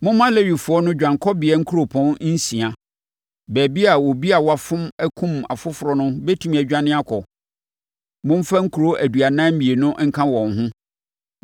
“Momma Lewifoɔ no dwanekɔbea nkuropɔn nsia, baabi a obi a wafom akum ɔfoforɔ no bɛtumi adwane akɔ. Momfa nkuro aduanan mmienu nka wɔn ho.